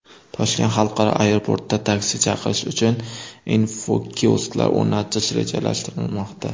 Toshkent xalqaro aeroportida taksi chaqirish uchun infokiosklar o‘rnatish rejalashtirilmoqda.